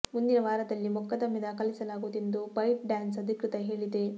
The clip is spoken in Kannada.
ಮುಂದಿನ ವಾರದಲ್ಲಿ ಮೊಕದ್ದಮೆ ದಾಖಲಿಸಲಾಗುವುದು ಎಂದು ಬೈಟ್ ಡ್ಯಾನ್ಸ್ ಅಧಿಕೃತ ಹೇಳಿದೆ